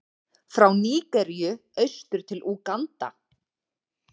frá Nígeríu austur til Úganda.